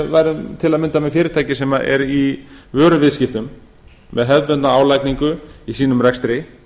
værum til að mynda með fyrirtæki sem er í vöruviðskiptum með hefðbundna álagningu í sínum rekstri